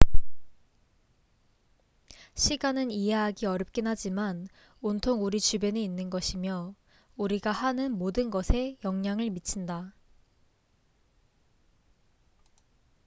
시간은 이해하기 어렵긴 하지만 온통 우리 주변에 있는 것이며 우리가 하는 모든 것에 영향을 미친다